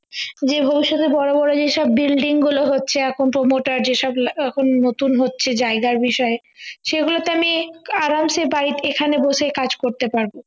যে গুলো শুধু বড় বড় যেসব building গুলো হচ্ছে এখন promoter যেসব এখন নতুন হচ্ছে জায়গায় বিষয়ে সেগুলোতে আমি আরামসে এখানে বসে কাজ করতে পারবো